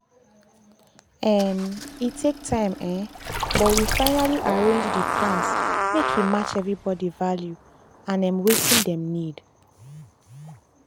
um e take time um but we finally arrange dey plans make e match everybody value and um wetin dem need.